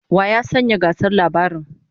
Wa ya sanya gasar labaran?